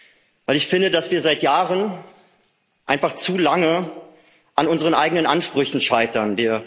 Denn ich finde, dass wir seit Jahren einfach zu lange an unseren eigenen Ansprüchen scheitern.